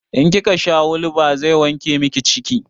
In kika sha hulba zai wanke miki ciki